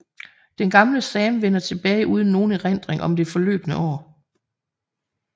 Den gamle Sam vender tilbage uden nogen erindring om det forløbne år